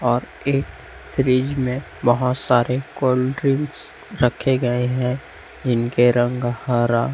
और एक फ्रिज में बहुत सारे कोल्ड ड्रिंक्स रखे गए हैं जिनके रंग हरा--